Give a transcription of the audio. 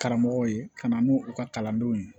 Karamɔgɔw ye ka na n'u u ka kalandenw ye